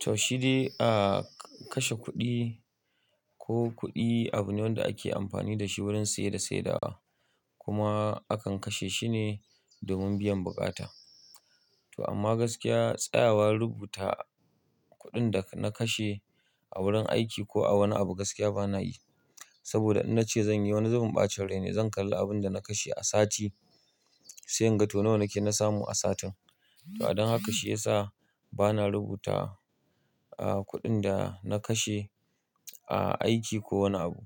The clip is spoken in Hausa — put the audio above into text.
Toh shidai, a kashe kuɗi ko kuɗi abu ne wanda ake amfani da shi wurin saye da saidawa kuma akan kashe shi ne domin biyan buƙata. To amma gaskiya tsayawa rubuta kuɗin da na kashe a wurin aiki ko a wani abu gaskiya ba na yi. Saboda in na ce zan yi wani zubin ɓacin rai ne, zan kalli abin da na kashe a sati, sai in ga to nawa ne ke na samu a satin. To adon haka shi ya sa ba na rubuta, ah, kuɗin da na kashe a aiki ko wani abu.